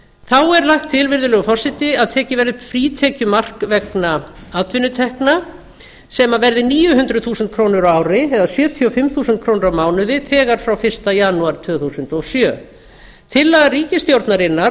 þá er lagt til virðulegi forseti að tekið verði upp frítekjumark vegna atvinnutekna sem verð níu hundruð þúsund krónur á ári eða sjötíu og fimm þúsund krónur á mánuði þegar frá fyrsta janúar tvö þúsund og sjö tillaga ríkisstjórnarinnar